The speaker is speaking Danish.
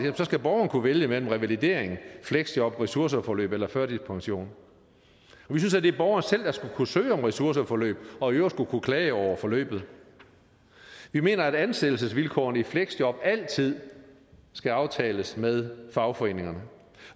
skal borgerne kunne vælge imellem revalidering fleksjob ressourceforløb eller førtidspension vi synes at det er borgeren selv der skal kunne søge om ressourceforløb og i øvrigt kunne klage over forløbet vi mener at ansættelsesvilkårene i fleksjob altid skal aftales med fagforeningerne